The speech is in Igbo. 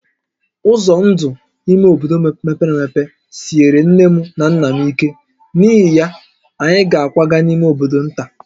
Ụzọ ndụ ime obodo mepere emepe siere nné na nnà m ike, n’ihi ya, anyị ga-akwaga n’ime bodo nta